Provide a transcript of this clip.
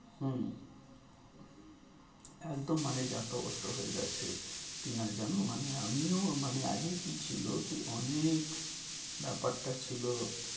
হম একদম মানে যা তা অবস্থা হয়ে গেছে। টিনা জানো মানে আমিও মানে আগে কি ছিল কি অনেক ব্যাপারটা ছিল,